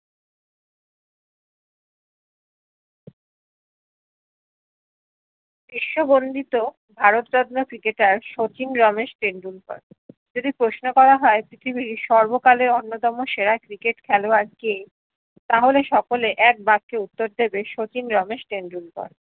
বিশ্ব বন্দিত ভারত যাত্রা ক্রিকেটর শচীন রমেশ টেন্ডুলকার যদি প্রশ্ন করা হয় পৃথিবীর সর্বকালের অন্যতম সেরা ক্রিকেট খেলাওয়ার কে তা হলে সকলে একা বাক্যের উত্তর দিবে শচীন রমেশ টেন্ডুলকার